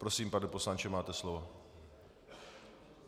Prosím, pane poslanče, máte slovo.